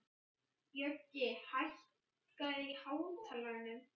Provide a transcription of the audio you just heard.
Bjöggi, hækkaðu í hátalaranum.